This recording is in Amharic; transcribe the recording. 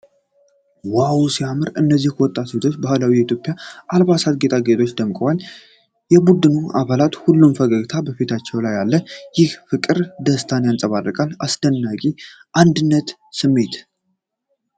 ዋው ሲያምር! እነዚህ ወጣት ሴቶች በባህላዊ የኢትዮጵያ አልባሳትና ጌጣጌጦች ደምቀዋል። የቡድኑ አባላት ሁሉም ፈገግታ በፊታቸው ላይ አለ፣ ይህም ፍቅርና ደስታን ያንጸባርቃል። አስደናቂ የአንድነት ስሜት!